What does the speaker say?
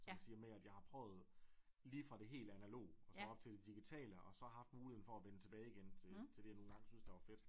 Så at sige med at jeg har prøvet lige fra det helt analoge og så op til det digitale og så haft muligheden for at vende tilbage igen til til det jeg nu engang syntes var fedt